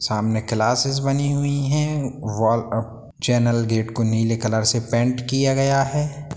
सामने क्लासेज बनी हुई हैं वॉल अ चैनल गेट को नीले कलर से पेंट किया गया है।